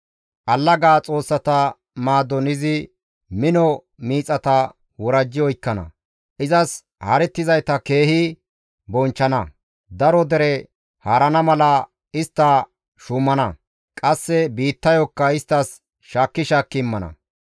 Allaga xoossata maadon izi mino miixata worajji oykkana; izas haarettizayta keehi bonchchana; daro dere haarana mala istta shuumana; qasse biittayokka isttas shaakki shaakki immana.